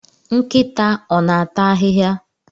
Nkịta ọ na-ata ahịhịa?